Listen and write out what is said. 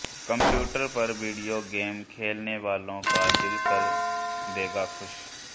computer पर video game खेलने वालों का दिल कर देगा खुश